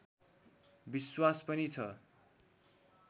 विश्वास पनि छ